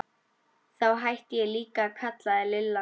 Þá hætti ég líka að kalla þig Lilla.